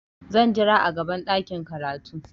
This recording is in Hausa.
Zan jira a gaban ɗakin karatu.